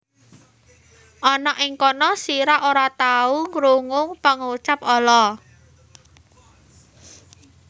Ana ing kono sira ora tahu krungu pangucap ala